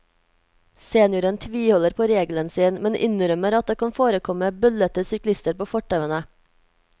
Senioren tviholder på regelen sin, men innrømmer at det kan forekomme bøllete syklister på fortauene.